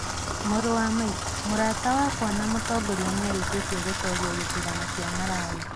Mũrũ wa maitũ, mũrata wakwa na mũtongoria nĩ arĩkĩtie gũtooria gĩthurano kĩa Malawi